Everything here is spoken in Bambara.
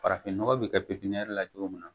Farafin nɔgɔ bɛ kɛ pepiniyɛri la cogo min na